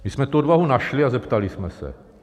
My jsme tu odvahu našli a zeptali jsme se.